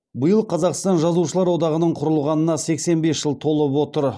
биыл қазақстан жазушылар одағының құрылғанына сексен бес жыл толып отыр